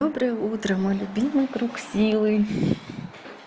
доброе утро мой любимый круг силы